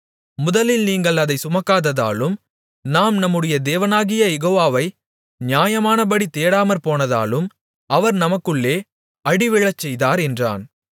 முதலில் நீங்கள் அதை சுமக்காததாலும் நாம் நம்முடைய தேவனாகிய யெகோவாவை நியாயமானபடி தேடாமற்போனதாலும் அவர் நமக்குள்ளே அடிவிழச்செய்தார் என்றான்